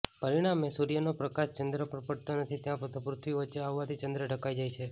પરિણામે સૂર્યનો પ્રકાશ ચંદ્ર પર પડતો નથી તથા પૃથ્વી વચ્ચે આવવાથી ચંદ્ર ઢંકાઈ જાય છે